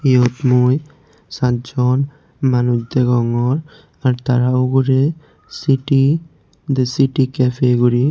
yot mui sajjon manuch degongor ar tara ugure city the city cafe guri.